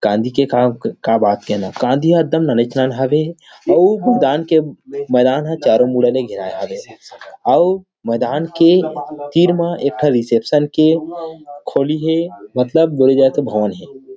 कांदी के का का बात कहना कांदी ह एकदम नानेच नान हावे हे अऊ दुकान के मैदान हा चारों मुड़ा ल घेराये हवे हे अऊ मैदान के तीर म एक ठ रीसेप्शन के खोली हे मतलब बोले जाए तो भवन हे।